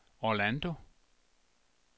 Orlando